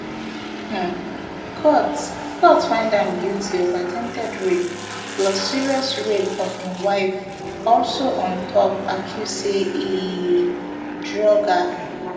um court court find am guilty of attempted rape plus serious rape of im wife also on top accuse say e drug her